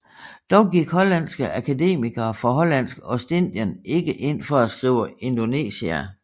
Dog gik hollandske akademikere fra Hollandsk Ostindien ikke ind for at skrive Indonesia